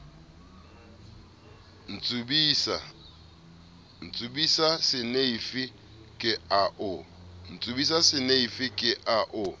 ntsubisa seneifi ke a o